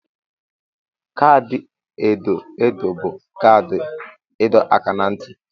Kaadị edo edo bụ kaadị ịdọ aka ná ntị.